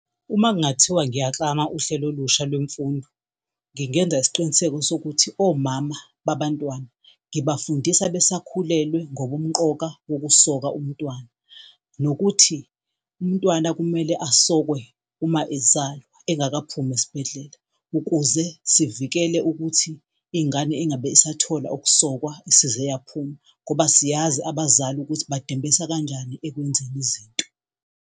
Uma kungathiwa ngiyaklama uhlelo olusha lwemfundo ngingenza isiqiniseko sokuthi omama babantwana ngibafundisa besakhulelwe ngobumqoka bokusoka umntwana. Nokuthi umntwana kumele asokwe uma ezalwa engakaphumi esibhedlela ukuze sivikele ukuthi ingane ingabe isathola ukusokwa isize yaphuma ngoba siyazi abazali ukuthi badembesa kanjani ekwenzeni izinto.